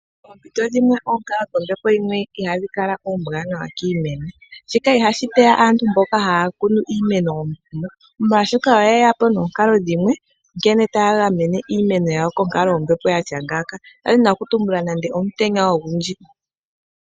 Poompito dhimwe oonkalo dhombepo dhimwe I hadhi kala oombwanawa kiimeno. shika I hashi teya aantu mbono ha ya kunu iimeno omukuno, molwaashoka oye yapo nomikalo dhimwe nkene ta ya gamene iimeno yawo konkalo yombepo yatya ngaaka ngaashi omutenya omugundji.